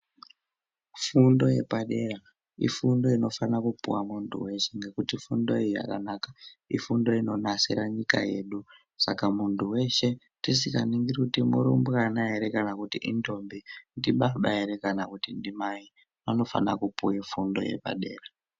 Fundo yepadera ifundo inofana kupuwa muntu weshe ngekuti fundo iyi yakanaka ifundo inonasira nyika yedu Saka muntu weshe tisinganingiri kuti irumbwana here kana indombi ndibaba here kana kuti ndimai anofana kupuwa fundo yepadera.